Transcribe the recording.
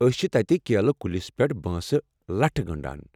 أسۍ چھِ تتہِ کیلہٕ کُلِس پٮ۪ٹھ بانسہٕ لَٹھہِ گنٛڈان۔